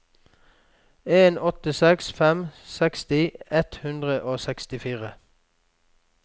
en åtte seks fem seksti ett hundre og sekstifire